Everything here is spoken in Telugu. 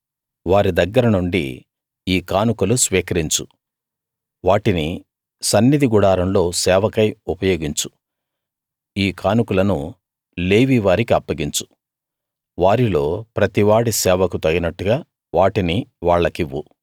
వారి దగ్గర నుండి ఈ కానుకలు స్వీకరించు వాటిని సన్నిధి గుడారంలో సేవకై ఉపయోగించు ఈ కానుకలను లేవీ వారికప్పగించు వారిలో ప్రతి వాడి సేవకు తగినట్టుగా వాటిని వాళ్లకివ్వు